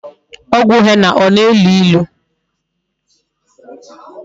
Ogwu henna o na-elu ilu?